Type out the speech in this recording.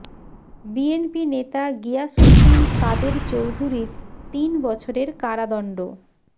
BNP নেতা গিয়াস উদ্দিন কাদের চৌধুরীর তিন বছরের কারাদন্ড